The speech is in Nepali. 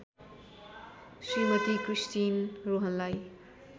श्रीमती क्रिस्टिन रोहनलाई